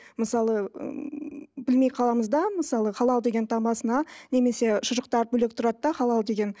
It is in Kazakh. мысалы білмей қаламыз да мысалы халал деген таңбасына немесе шұжықтар бөлек тұрады да халал деген